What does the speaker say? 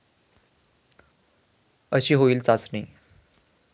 अशी होईल चाचणी